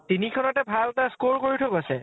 তিনিখনতে ভাল এটা score কৰি থৈ গৈছে